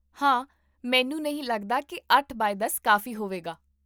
ਹਾਂ, ਮੈਨੂੰ ਨਹੀਂ ਲੱਗਦਾ ਕਿ ਅੱਠ ਬਾਏ ਦਸ ਕਾਫ਼ੀ ਹੋਵੇਗਾ